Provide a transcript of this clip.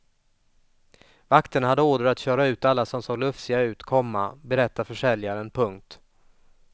Vakterna hade order att köra ut alla som såg lufsiga ut, komma berättar försäljaren. punkt